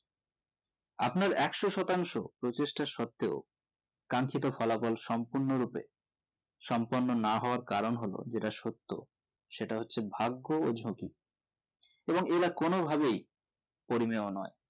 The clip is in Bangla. আপনার একশো শতাংশ প্রচেষ্টা সর্তেও কারণ সেটার ফলাফল সম্পূর্ণ রূপে সম্পূর্ণ না হবার কারণ হলো যেটা সত্য সেটা হচ্ছে ভাগ্য ও ঝুঁকি এবংএরা কোনো ভাবেই কর্মীও নোই